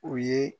U ye